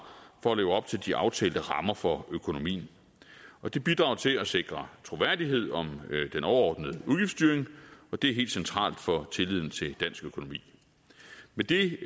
for at leve op til de aftalte rammer for økonomien og det bidrager til at sikre troværdighed om den overordnede udgiftsstyring og det er helt centralt for tilliden til dansk økonomi med det